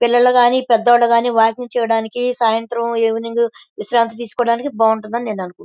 పిల్లలు కానీ పేదోళ్లు కాని వాకింగ్ చేయడానికి సాయంత్రం ఈవెనింగ్ విశ్రాంతి తీసుకోడానికి బావుంటుంది అని నేను అనుకుం --